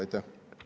Aitäh!